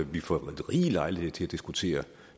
vi får rig lejlighed til at diskutere